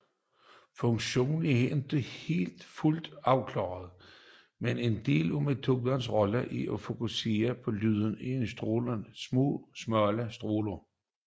Funktionen er ikke fuldt klarlagt men en del af melonens rolle er en fokusering af lyden i en smal stråle